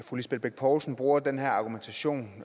at fru lisbeth bech poulsen bruger den her argumentation